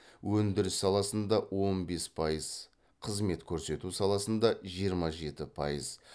өндіріс саласында он бес пайыз қызмет көрсету саласында жиырма жеті пайыз